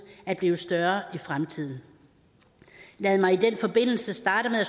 at blive større i fremtiden lad mig i den forbindelse starte med at